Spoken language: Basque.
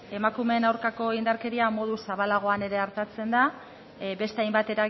emakumeei aurkako indarkeria modu zabalagoan ere artatzen da beste hainbat